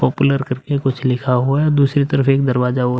Popular करके कुछ लिखा हुआ है। दूसरी तरफ एक दरवाजा और --